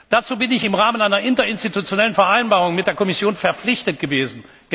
Dazu bin ich im Rahmen einer interinstitutionellen Vereinbarung mit der Kommission verpflichtet gewesen.